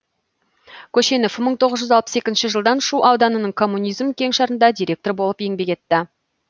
көшенов мың тоғыз жүз алпыс екінші жылдан шу ауданының коммунизм кеңшарында директор болып еңбек етті